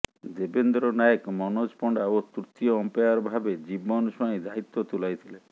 ଦେବନ୍ଦ୍ର ନାୟକ ମନୋଜ ପଣ୍ଡା ଓ ତୃତୀୟ ଅମ୍ପାୟାର ଭାବେ ଜିବନ ସ୍ୱାଇଁ ଦାୟିତ୍ୱ ତୁଲାଇଥିଲେ